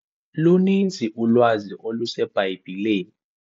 Luninzi ulwazi oluseBhayibhileni.